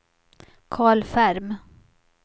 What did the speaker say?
Carl Ferm